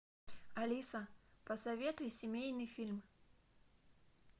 алиса посоветуй семейный фильм